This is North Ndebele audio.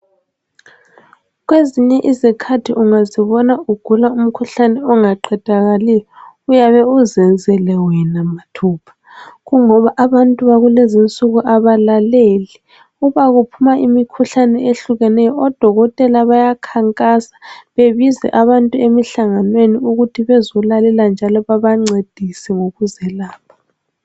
Kwezinye izikhathi ungazibona ugula umkhuhlane ongaqedakaliyo uyabe uzenzele wena mathupha kungoba abantu bakulezi insuku abalaleli. Uma kuphuma imikhuhlane ehlukeneyo odokotela bayakhankasa bebize abantu emihlanganweni ukuthi bezolalela njalo babancedise ngokuzelapha.